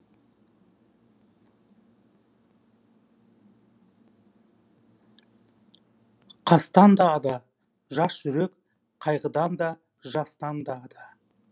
қастан да ада жас жүрек қайғыдан да жастан да ада